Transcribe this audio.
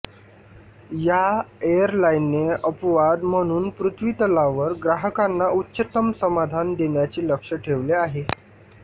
या एअरलाइनने अपवाद म्हणून पृथ्वीतलावर ग्राहकांना उच्चतम समाधान देण्याचे लक्ष्य ठेवले आहे